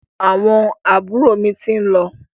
Àwọn àbúrò mi ti ń lọ.